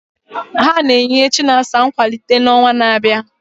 Ha na-enye Chinasa nkwalite n'ọnwa na-abịa.